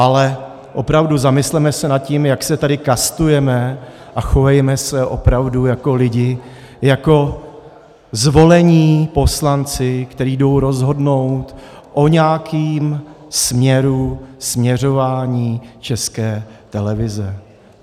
Ale opravdu, zamysleme se nad tím, jak se tady kastujeme, a chovejme se opravdu jako lidi, jako zvolení poslanci, kteří jdou rozhodnout o nějakém směru, směřování České televize.